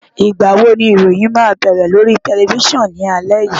Ìgbà wo ni ìròyìn máa bẹ̀rẹ̀ lórí tẹlifísàn ní alẹ́ yìí?